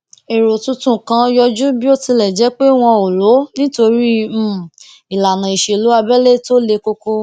èrò tuntun kan yọjú bí ó tilẹ jé pé wọn ò lò ó nítorí um ìlànà ìṣèlú abẹlé tó le koko